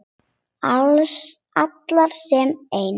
Allar sem ein.